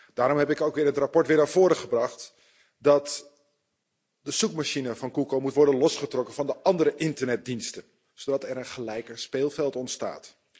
Daarom heb ik ook in het verslag weer naar voren gebracht dat de zoekmachine van Google moet worden losgetrokken van de andere internetdiensten, zodat er een gelijker speelveld ontstaat.